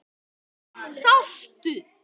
Hvað sástu?